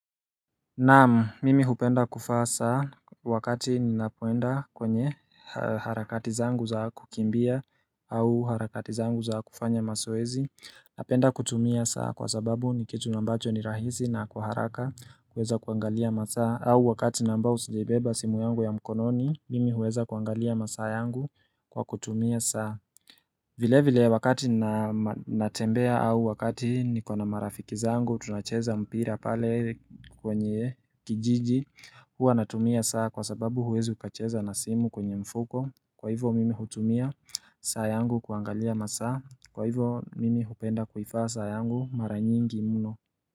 Naam, mimi hupenda kuvaa saa wakati ninapoenda kwenye harakati zangu za kukimbia au harakati zangu za kufanya mazoezi Napenda kutumia saa kwa sababu ni kitu ambacho ni rahisi na kwa haraka unaweza kuangalia masaa au wakati na ambao sijaibeba simu yangu ya mkononi, mimi huweza kuangalia masaa yangu kwa kutumia saa vile vile wakati ninatembea au wakati niko na marafiki zangu tunacheza mpira pale kwenye kijiji huwa natumia saa kwa sababu huwezi ukacheza na simu kwenye mfuko kwa hivyo mimi hutumia saa yangu kuangalia masaa kwa hivyo mimi hupenda kuivaa saa yangu mara nyingi mno.